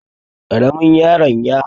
Ƙaramin yaron y